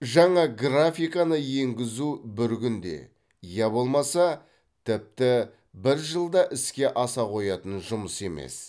жаңа графиканы енгізу бір күнде я болмаса тіпті бір жылда іске аса қоятын жұмыс емес